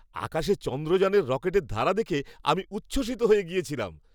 আকাশে চন্দ্রযানের রকেটের ধারা দেখে আমি উচ্ছ্বসিত হয়ে গিয়েছিলাম।